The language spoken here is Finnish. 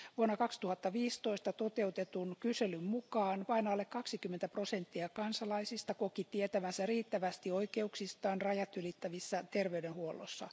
Vuonna 2015 toteutetun kyselyn mukaan vain alle 20 prosenttia kansalaisista koki tietävänsä riittävästi oikeuksistaan rajatylittävässä terveydenhuollossa.